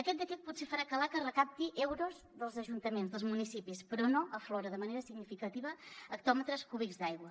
aquest decret potser farà que l’aca recapti euros dels ajuntaments dels municipis però no aflora de manera significativa hectòmetres cúbics d’aigua